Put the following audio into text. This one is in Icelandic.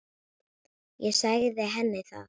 Ég sagði henni það.